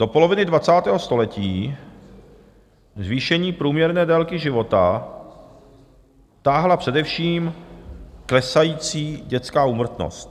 Do poloviny 20. století zvýšení průměrné délky života táhla především klesající dětská úmrtnost.